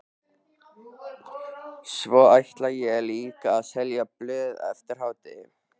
Svo ætla ég líka að selja blöð eftir hádegi.